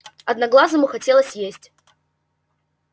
одноглазому хотелось есть